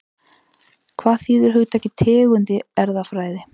Hvað þýðir hugtakið tegund í erfðafræði?